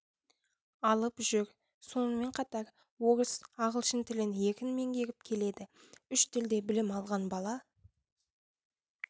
алып жүр сонымен қатар орыс ағылшын тілін еркін меңгеріп келеді үш тілде білім алған бала